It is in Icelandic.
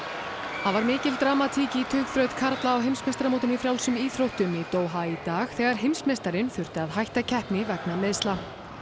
það var dramatík í tugþraut karla á heimsmeistaramótinu í frjálsum íþróttum í Doha í dag þegar heimsmeistarinn þurfti að hætta keppni vegna meiðsla